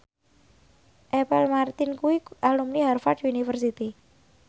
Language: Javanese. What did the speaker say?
Apple Martin kuwi alumni Harvard university